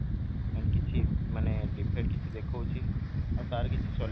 and କିଛି ମାନେ defect କିଛି ଦେଖୋଉଛି ଆଉ ତାର କିଛି